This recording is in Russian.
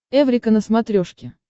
эврика на смотрешке